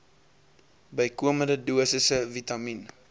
bykomende dosisse vitamien